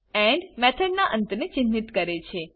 and મેથડના અંત ને ચિન્હિત કરે છે